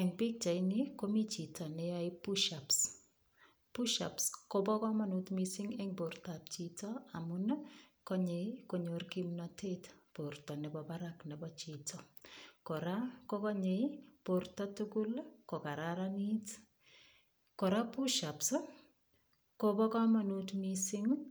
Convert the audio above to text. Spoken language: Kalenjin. Eng pichaini komi chito ne yoe pushups, pushups koba kamanut mising eng bortab chito amun ii konyei konyor kimnatet borta nebo barak nebo chito. Kora ko gonyei borta tugul ii kogararanit. Kora pushups kobo kamanut mising ii